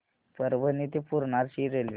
परभणी ते पूर्णा ची रेल्वे